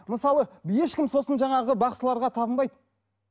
мысалы ешкім сосын жаңағы бақсыларға табынбайды